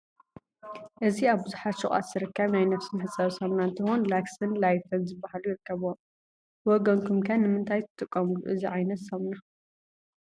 እዚ አብ ቡዙሕ ሹቃት ዝርከብ ናይ ነብሲ መሕፀቢ ሳሙና እንትኾን ላክስን ላይፍን ዝበሃሉ ይርከብዎም። ብወገንኩም ከ ንምንታይ ትጥቀምሉ እዚ ዓይነት ሳሙና?